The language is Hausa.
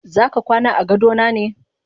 Zaka kwana agadona ne?